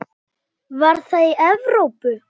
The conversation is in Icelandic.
Var það í Evrópu?